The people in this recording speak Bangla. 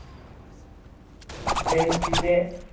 বেঞ্চিতে